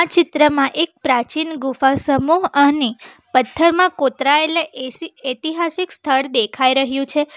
ચિત્રમાં એક પ્રાચીન ગુફા સમૂહ અને પથ્થરમાં કોતરાયેલા એસી ઐતિહાસિક સ્થળ દેખાઈ રહ્યું છે.